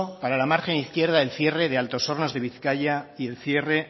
para la margen izquierda el cierre de altos hornos de bizkaia y el cierre